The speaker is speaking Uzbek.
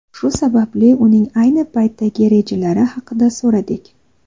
Shu sababli uning ayni paytdagi rejalari haqida so‘radik.